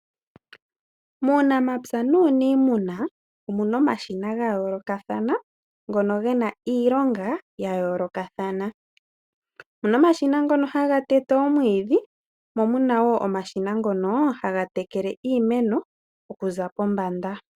Muunamapya nuniimuna omu na omashina ga yoolokathana, ngono ge na iilonga ya yoolokathana. Omu na omashina ngono haga tete omwiidhi, mo mu na wo omashina ngono haga tekele iimeno okuza pombanda.